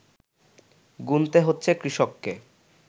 গুনতে হচ্ছে কৃষককে